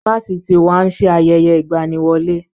Fáfitì wa ń ṣe ayẹyẹ ìgbaniwọlé